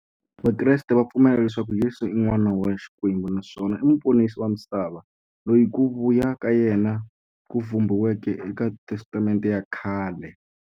Vakreste va pfumela leswaku Yesu i n'wana wa Xikwembu naswona i muponisi wa misava, loyi ku vuya ka yena ku vhumbiweke e ka Testamente ya khale.